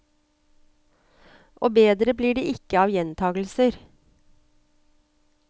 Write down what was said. Og bedre blir det ikke av gjentagelser.